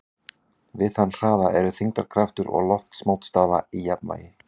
Við þann hraða eru þyngdarkraftur og loftmótstaða í jafnvægi.